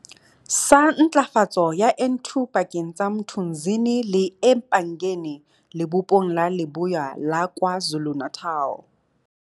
sa Ntlafatso ya N2 pakeng tsa Mthunzini le eMpangeni Lebopong la Leboya la Kwa Zulu-Natal.